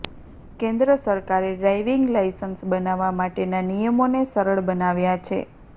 કેન્દ્ર સરકારે driving licence બનાવવા માટેના નિયમોને સરળ બનાવ્યા છે